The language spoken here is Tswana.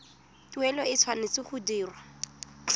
tuelo e tshwanetse go dirwa